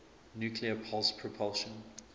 nuclear pulse propulsion